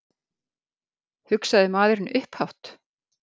hugsaði maðurinn upphátt.